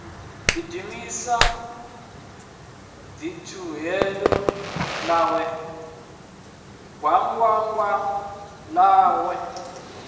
gidimisa ḽitibutibu ḽawe gwangwangwani ḽaḽo